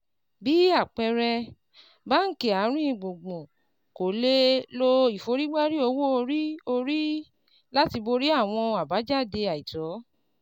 Bí àpẹẹrẹ, báńkì àárín gbùngbùn kò lè lo ìforígbárí owó orí orí láti borí àwọn àbájáde àìtó